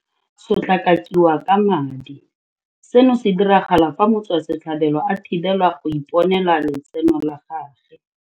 Sotlakakiwa ka madi. Seno se diragala fa motswasetlhabelo a thibelwa go iponela letseno la gagwe.